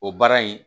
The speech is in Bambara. O baara in